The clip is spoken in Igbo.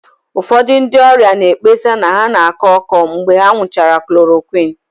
Ụfọdụ ndị ọrịa na-ekpesa na ha na-akọ ọkọ mgbe ha ṅụchara chloroquine